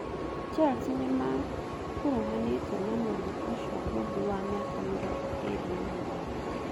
Chelsea nĩmakuruhanĩtio na mũndũ ũcio ngũthi wa mĩaka mĩrongo ĩĩrĩ na mũgwanja